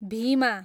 Bhima